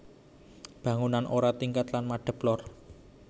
Bangunan ora tingkat lan madep lor